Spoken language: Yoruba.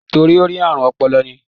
Torí ó ní àrùn ọpọlọ ni.